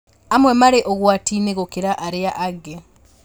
Amwe marĩ ũgwati-inĩ gũkĩra arĩa angĩ